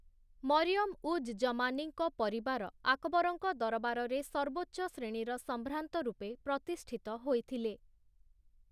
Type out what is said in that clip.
ମରିୟମ୍‌ ଉଜ୍ ଜମାନୀଙ୍କ ପରିବାର ଆକବରଙ୍କ ଦରବାରରେ ସର୍ବୋଚ୍ଚ ଶ୍ରେଣୀର ସମ୍ଭ୍ରାନ୍ତ ରୂପେ ପ୍ରତିଷ୍ଠିତ ହୋଇଥିଲେ ।